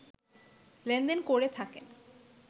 লেনদেন করে থাকেন